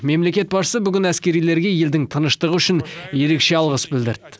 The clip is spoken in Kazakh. мемлекет басшысы бүгін әскерилерге елдің тыныштығы үшін ерекше алғыс білдірді